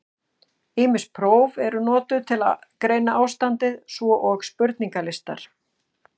Ýmis próf eru notuð til að greina ástandið, svo og spurningalistar.